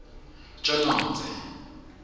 tjonodze